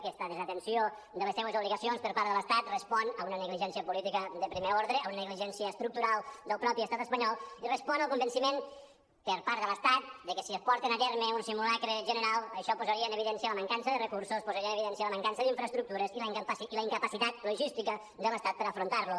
aquesta desatenció de les seues obligacions per part de l’estat respon a una negligència política de primer ordre a una negligència estructural del mateix estat espanyol i respon al convenciment per part de l’estat de que si porten a terme un simulacre general això posaria en evidència la mancança de recursos posaria en evidència la mancança d’infraestructures i la incapacitat logística de l’estat per afrontar lo